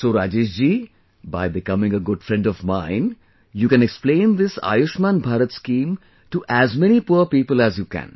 So Rajesh ji, by becoming a good friend of mine, you can explain this Ayushman Bharat scheme to as many poor people as you can